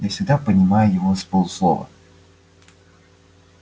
я всегда понимаю его с полуслова